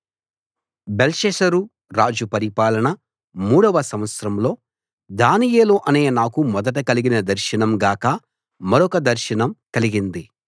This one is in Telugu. బెల్షస్సరు రాజు పరిపాలన మూడవ సంవత్సరంలో దానియేలు అనే నాకు మొదట కలిగిన దర్శనం గాక మరొక దర్శనం కలిగింది